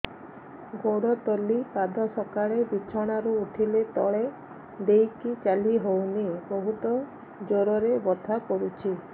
ଗୋଡ ତଳି ପାଦ ସକାଳେ ବିଛଣା ରୁ ଉଠିଲେ ତଳେ ଦେଇକି ଚାଲିହଉନି ବହୁତ ଜୋର ରେ ବଥା କରୁଛି